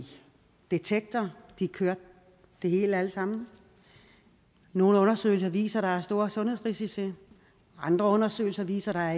detektor de kørte det alt sammen nogle undersøgelser viser at der er store sundhedsrisici andre undersøgelser viser at